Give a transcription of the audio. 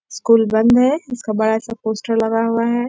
School बंद है उसका बड़ा सा पोस्टर लगा हुआ है।